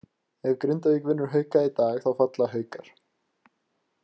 Ef Grindavík vinnur Hauka í dag þá falla Haukar.